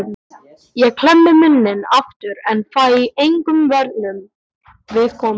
Ég klemmi munninn aftur en fæ engum vörnum við komið.